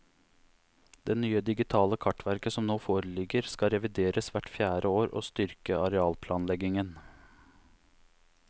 Det nye digitale kartverket som nå foreligger, skal revideres hvert fjerde år og styrke arealplanleggingen.